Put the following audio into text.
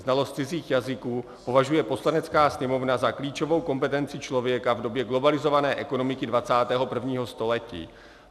Znalost cizích jazyků považuje Poslanecká sněmovna za klíčovou kompetenci člověka v době globalizované ekonomiky 21. století.